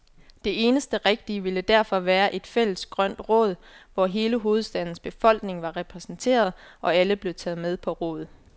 Det eneste rigtige ville derfor være et fælles grønt råd, hvor hele hovedstadens befolkning var repræsenteret, og alle blev taget med på råd.